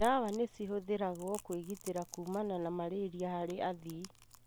ndawa nĩcihũthĩragwo kwĩgitĩra kumana na malaria harĩ athii.